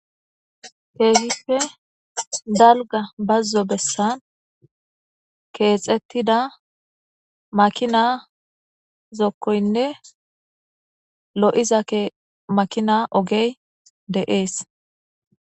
Keehippe dalga bazzo bessan keexettida makina zokkoynne lo7iza makina ogey de7ees